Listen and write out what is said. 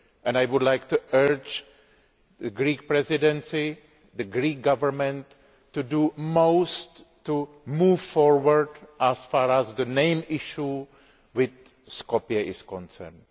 I would like to urge the Greek Presidency the Greek Government to do its utmost to move forward as far as the main issue with Skopje is concerned.